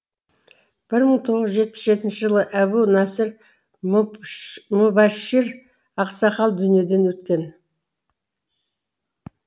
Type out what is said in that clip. мың тоғыз жүз жетпіс жетінші жылы әбу насыр мүбашшир ақсақал дүниеден өткен